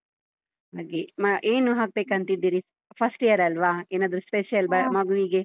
ಹಾಗೆ ಏನು ಹಾಕ್ಬೇಕಂತಿದ್ದೀರಿ first year ಅಲ್ವಾ ಏನಾದ್ರೂ special ಮಗುವಿಗೆ?